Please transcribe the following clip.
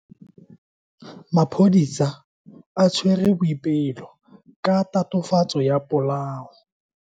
Maphodisa a tshwere Boipelo ka tatofatso ya polao.